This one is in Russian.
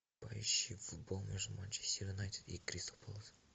поищи футбол между манчестер юнайтед и кристал пэлас